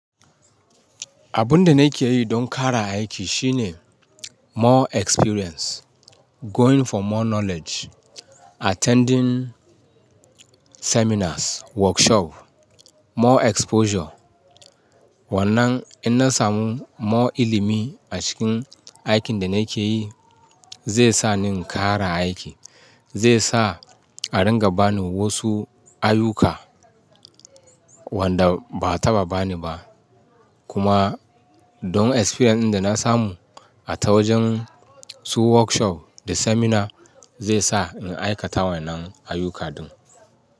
Abun da nake yi don ƙara aiki shine more experience, going for more knowledge, attending seminars, workshop, more exposure. Wannan in na samu more ilimi, a cikin aikin da nake yi, zai sa ni ƙara aiki, zai sa a ringa bani wasu ayuka wanda ba a taɓa bani ba. Kuma domin experience din da na samu a ta wajen su workshop da seminar zai sa in aikata wannan ayuka din.